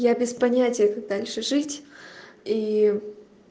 я без понятия как дальше жить и